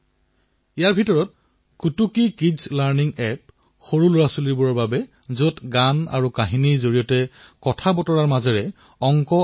গৃহ উদ্যোগেই হওক ক্ষুদ্ৰ আৰু লঘূ উদ্যোগেই হওক এমএছএমইয়েই হওক বৃহৎ উদ্যোগ আৰু ব্যক্তিগত উদ্যমীও ইয়াৰ অন্তৰ্ভুক্ত হয়